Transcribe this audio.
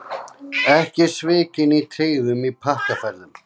Ekki svikin í tryggðum í pakkaferðum